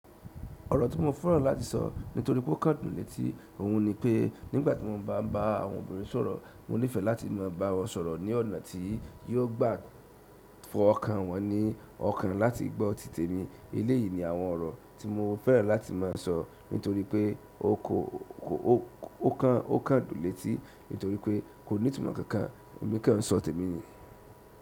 Ọ̀rọ̀ tí mo fẹ́ràn láti sọ nítorí pé ó kán dùn létí, òhun ni pé nígbà tí mo bá ń bá àwọn obìnrin sọ̀rọ̀, mo nífẹ̀ẹ́ láti má a bá wọn sọ̀rọ̀ ní ọ̀nà tí yóò gba fọ́ ọkàn wọn ní ọkàn láti gbọ́ títẹmi. Eleyìí ni àwọn ọ̀rọ̀ tí mo fẹ́ràn láti má a sọ nítorí pé ó kán dùn l'eti nítorí pé kò ní ìtumọ̀ kankan, èmi kan sọ tèmi ni.